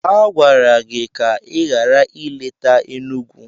A gwara gị ka ị ghara ileta Enugwu.